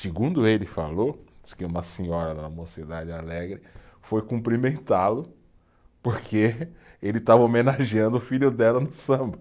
Segundo ele falou, disse que uma senhora da mocidade alegre foi cumprimentá-lo porque ele estava homenageando o filho dela no samba.